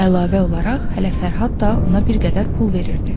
Əlavə olaraq hələ Fərhad da ona bir qədər pul verirdi.